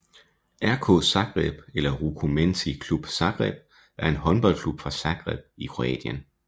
RK Zagreb eller Rukometni Klub Zagreb er en håndboldklub fra Zagreb i Kroatien